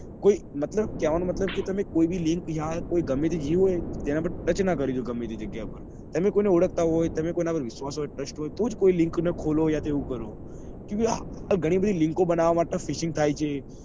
કોઈ કેવા નો મતલબ કે તમે કોઈ બી link યા કોઈ ગમે તે touch નાં કરી ડો તમે કોઈ ને ઓળખતા હોય યા તમે કોઈ નાં પર વિશ્વાસ કરતા હોય તો જ ખોલો કે એવું કરો. ગની બધી link બનવા માટે fishing થાય છે.